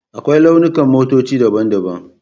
Akwai launukan motoci daban-daban.